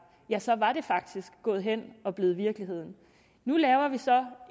ja så var det faktisk gået hen og blevet virkelighed nu laver vi så